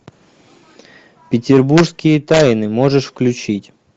петербургские тайны можешь включить